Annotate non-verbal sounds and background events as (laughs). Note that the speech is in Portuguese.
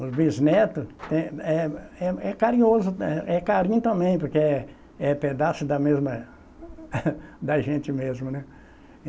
Os bisnetos, é, é, é carinhoso, é, é, carinho também, porque é é pedaço da mesma... (laughs) da gente mesmo, né?